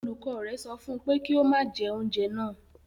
Olùkọ́ rẹ̀ sọ fún un pé kí ó má jẹ oúnjẹ náà